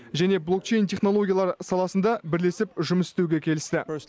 және блокчейн технологиялар саласында бірлесіп жұмыс істеуге келісті